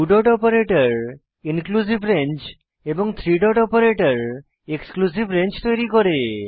two dot operator exclusive range এবং three dot operator exclusive range তৈরী করে